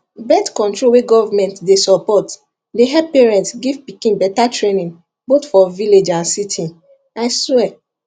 birthcontrol wey government dey support dey help parents give pikin better trainingboth for village and city i swear